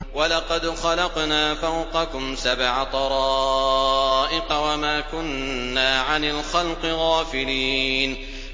وَلَقَدْ خَلَقْنَا فَوْقَكُمْ سَبْعَ طَرَائِقَ وَمَا كُنَّا عَنِ الْخَلْقِ غَافِلِينَ